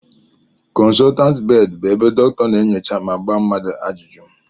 Konsotant bedi bụ ebe dokita a na-enyocha ma gbaa mmadụ ajụjụ